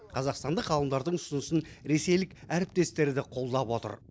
қазақстандық ғалымдардың ұсынысын ресейлік әріптестері де қолдап отыр